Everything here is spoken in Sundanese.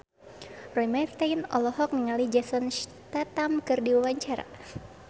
Roy Marten olohok ningali Jason Statham keur diwawancara